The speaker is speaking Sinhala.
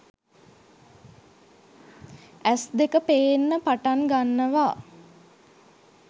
ඇස් දෙක පේන්න පටන් ගන්නවා